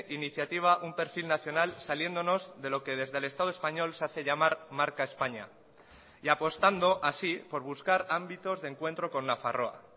iniciativa un perfil nacional saliéndonos de lo que desde el estado español se hace llamar marca españa y apostando así por buscar ámbitos de encuentro con nafarroa